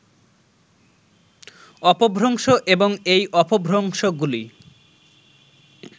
অপভ্রংশ এবং এই অপভ্রংশগুলি